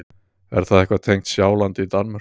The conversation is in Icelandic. Er það eitthvað tengt Sjálandi í Danmörku?